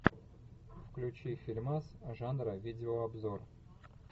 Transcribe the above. включи фильмас жанра видеообзор